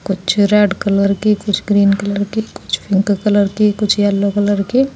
कुछ red colour के कुछ ग्रीन कलर के कुछ पिंक कलर के कुछ येलो कलर के --